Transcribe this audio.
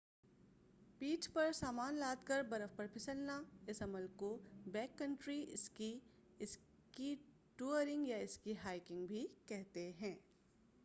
پیٹھ پر سامان لاد کر برف پر پھسلنا اس عمل کو back country ski ski touring یا اسکی ہائیکنگ بھی کہتے ہیں